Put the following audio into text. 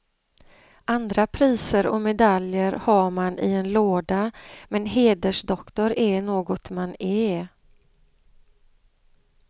Andra priser och medaljer har man i en låda men hedersdoktor är något man är.